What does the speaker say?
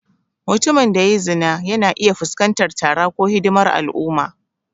Mutumin da ya yi zina yana iya fuskantar tara ko hidimar al'umma.